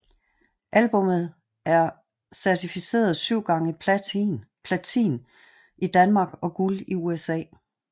Albummet er certificeret 7 x Platin i Danmark og Guld i USA